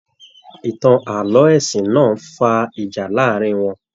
Ìtàn ààlọ́ ẹ̀sìn náà fà ìjà láàrin wọn.